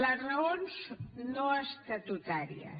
les raons no estatutàries